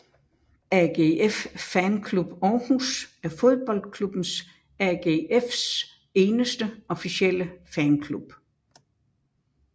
AGF Fanclub Aarhus er fodboldklubbens AGFs eneste officielle fanklub